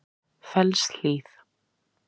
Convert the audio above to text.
Fellshlíð